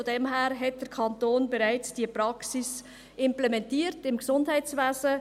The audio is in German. Von daher hat der Kanton diese Praxis im Gesundheitswesen bereits implementiert.